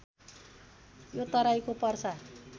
यो तराईको पर्सा